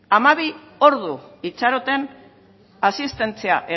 hamabi ordu itxaroten asistentzia